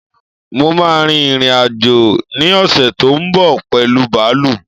Mo máà ń rin ìrìn-àjò ní ọ̀ṣè tó ń bọ̀ pẹ̀lu bààlú